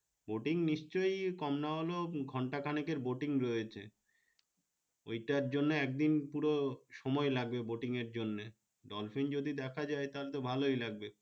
boating নিশ্চই কম হলেও ঘন্টা খানেকের boating রয়েছে ঐ টার জন্য একদিন পুরো সময় লাগবে boating এর জন্যে dolphin যদি দেখা যায় তাহলে তো ভাল লাগবে